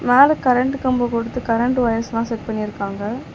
மேல கரண்ட் கம்போ கொடுத்து கரண்ட் வயர்ஸ்லா செட் பண்ணிருக்காங்க.